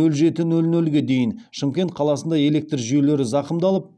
нөл жеті нөл нөлге дейін шымкент қаласында электр жүйелері зақымдалып